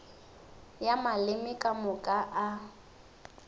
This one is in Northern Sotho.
ya maleme ka moka a